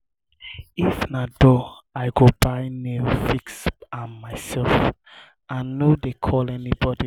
if na door i go buy nail fix am mysef i no dey call anybodi.